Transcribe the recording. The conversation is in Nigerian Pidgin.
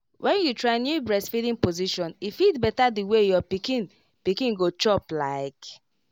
when you try new breastfeeding position e fit better the way your pikin pikin go chop like